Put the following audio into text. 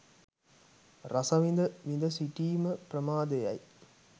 රස විඳ, විඳ සිටීම ප්‍රමාදය යි.